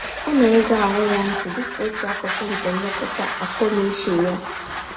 Ọ na-ege ahụ ya ntị dịka otu akụkụ nke nlekọta akọ-n'uche ya